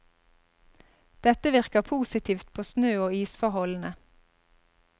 Dette virker positivt på snø og isforholdene.